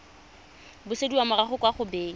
busediwa morago kwa go beng